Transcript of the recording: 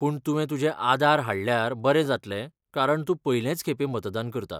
पूण तुवें तुजें आधार हाडल्यार बरें जातलें कारण तूं पयलेंच खेपें मतदान करता.